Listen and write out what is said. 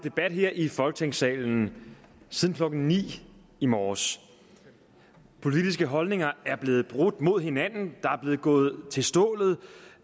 debat her i folketingssalen siden klokken ni i morges politiske holdninger er blevet brudt mod hinanden der er blevet gået til stålet